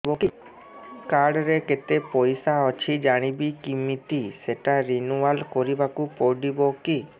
card ରେ କେତେ ପଇସା ଅଛି ଜାଣିବି କିମିତି ସେଟା ରିନୁଆଲ କରିବାକୁ ପଡ଼ିବ କି